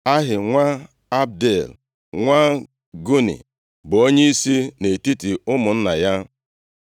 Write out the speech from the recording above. Ahi nwa Abdiel, nwa Guni bụ onyeisi nʼetiti ụmụnna ya.